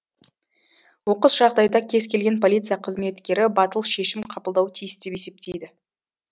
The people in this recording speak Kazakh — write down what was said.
оқыс жағдайда кез келген полиция қызметкері батыл шешім қабылдауы тиіс деп есептейді